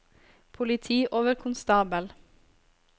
politioverkonstabel